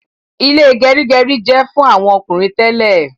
Ile gerigeri jẹ fún àwọn ọkùnrin tẹlẹ